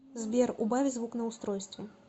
сбер убавь звук на устройстве